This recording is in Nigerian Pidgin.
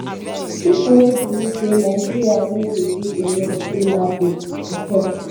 pipo wey believe say nigeria no dey do enough dey laughable e tok